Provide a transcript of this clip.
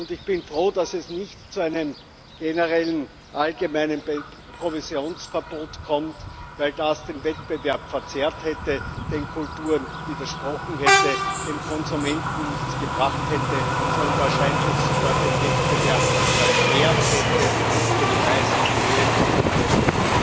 Ich bin froh, dass es nicht zu einem generellen, allgemeinen Provisionsverbot kommt, weil das den Wettbewerb verzerrt, den Kulturen widersprochen, dem Konsumenten nichts gebracht, sondern wahrscheinlich sogar den Wettbewerb erschwert und den Preis in die Höhe getrieben hätte.